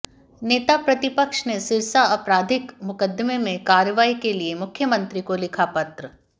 नेता प्रतिपक्ष ने सिरसा आपराधिक मुकद्दमे में कार्रवाई के लिए मुख्यमंत्री को लिखा पत्र